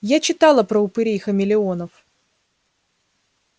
я читала про упырей-хамелеонов